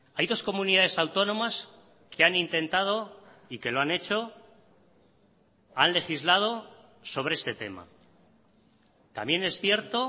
hay dos comunidades autónomas que han intentado y que lo han hecho han legislado sobre este tema también es cierto